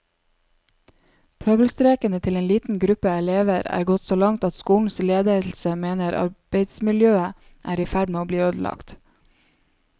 Pøbelstrekene til en liten gruppe elever er gått så langt at skolens ledelse mener arbeidsmiljøet er i ferd med å bli ødelagt.